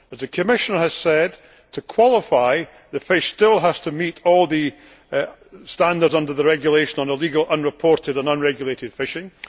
As the Commissioner has said, in order to qualify, the fish still needs to meet all the standards under the regulation on illegal, unreported and unregulated fishing.